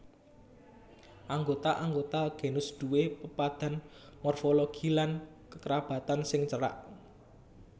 Anggota anggota genus duwé pepadhan morfologi lan kekerabatan sing cerak